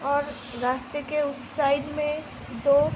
और रास्‍ते के उस साइड में दो --